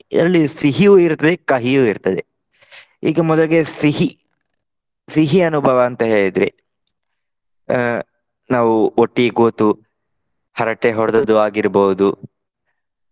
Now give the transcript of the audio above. ಅದರಲ್ಲಿ ಸಿಹಿಯೂ ಇರ್ತದೆ ಕಹಿಯೂ ಇರ್ತದೆ. ಈಗ ಮೊದಲಿಗೆ ಸಿಹಿ. ಸಿಹಿ ಅನುಭವ ಅಂತ ಹೇಳಿದ್ರೆ ಅಹ್ ನಾವು ಒಟ್ಟಿಗೆ ಕೂತು ಹರಟೆ ಹೊಡೆದದ್ದು ಆಗಿರ್ಬಹುದು.